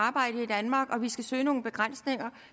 at arbejde i danmark og at vi skal søge nogle begrænsninger